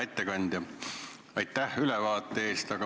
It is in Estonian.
Hea ettekandja, aitäh ülevaate eest!